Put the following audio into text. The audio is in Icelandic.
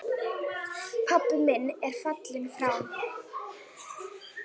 Pabbi minn er fallinn frá.